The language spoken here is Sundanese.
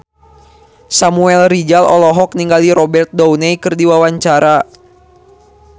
Samuel Rizal olohok ningali Robert Downey keur diwawancara